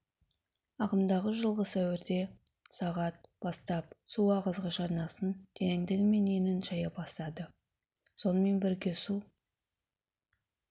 ағымдағы жылғы сәуірде сағат бастап су ағызғыш арнасын тереңдігі мен енін шайа бастады сонымен бірге су